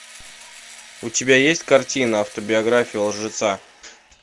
у тебя есть картина автобиография лжеца